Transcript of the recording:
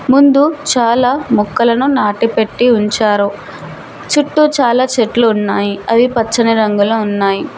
ముందు చాలా మొక్కలను నాటిపెట్టి ఉంచారు చుట్టూ చాలా చెట్లు ఉన్నాయి అవి పచ్చని రంగులో ఉన్నాయి.